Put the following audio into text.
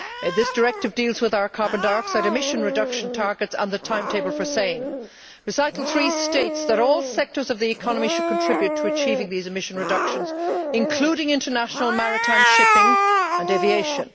This directive deals with our carbon dioxide emission reduction targets and the timetable for the same. Recital 3 states that ll sectors of the economy should contribute to achieving these emission reductions, including international maritime shipping and aviation.